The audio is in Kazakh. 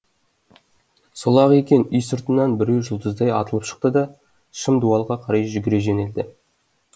сол ақ екен үй сыртынан біреу жұлдыздай атылып шықты да шым дуалға қарай жүгіре жөнелді